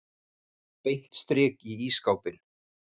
Beint strik í ísskápinn.